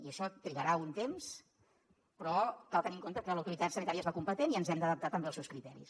i això trigarà un temps però cal tenir en compte que l’autoritat sanitària és la competent i ens hem d’adaptar també als seus criteris